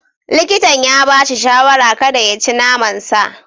Likitan ya ba shi shawarar kada ya ci naman sa.